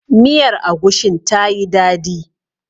Miyar agushin ta yi dadi.